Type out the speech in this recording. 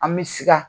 An bɛ sika